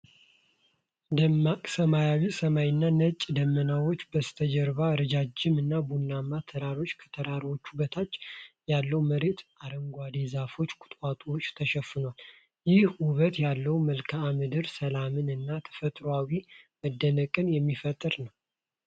ደማቅ ሰማያዊ ሰማይና ነጭ ደመናዎች በስተጀርባ ረዣዥም እና ቡናማ ተራሮች፣ ከተራሮቹ በታች ያለው መሬት በአረንጓዴ ዛፎችና ቁጥቋጦዎች ተሸፍኗል። ይህ ውበት ያለው መልክአ ምድር ሰላምን እና ተፈጥሯዊ መደነቅን የሚፈጥር ነው።